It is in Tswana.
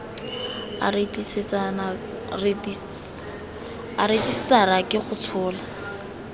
a rejisetara ke go tshola